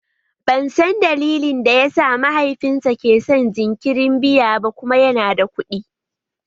Ban san dalilin da yasa mahaifinta ke son jinkirin biya ba kuma yana da kuɗi